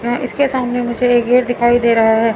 यहां इसके सामने मुझे ये गेट दिखाई दे रहा है।